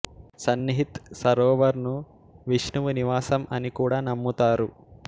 సన్నిహిత్ సరోవర్ ను విష్ణువు నివాసం అని కూడా నమ్ముతారు